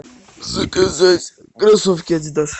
заказать кроссовки адидас